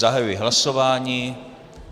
Zahajuji hlasování.